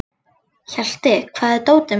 Hjalti, hvar er dótið mitt?